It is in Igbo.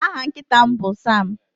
Aha nkịta m bụ Sam.